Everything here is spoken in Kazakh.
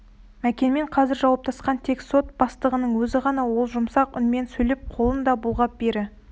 мәкенмен қазір жауаптасқан тек сот бастығының өзі ғана ол жұмсақ үнмен сөйлеп қолын да бұлғап бері